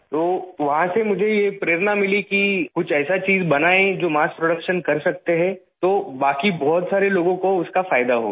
تو وہاں سے مجھے یہ ترغیب حاصل ہوئی کہ کچھ ایسی چیز بنائیں جو مارس پروڈکشن کر سکتے ہیں، تو باقی بہت سارے لوگوں کو اس کا فائدہ ہوگا